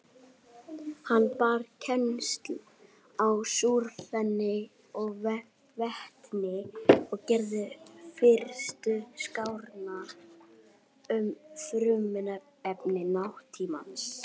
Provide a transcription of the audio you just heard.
Önnur helstu tungumál eru rússneska og armenska.